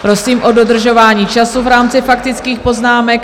Prosím o dodržování času v rámci faktických poznámek.